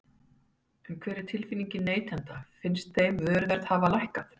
En hver er tilfinningin neytenda, finnst þeim vöruverð hafa lækkað?